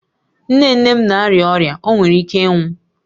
Nne nne m na-arịa ọrịa, ọ nwere ike ịnwụ